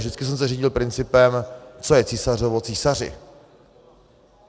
Vždycky jsem se řídil principem, co je císařovo, císaři.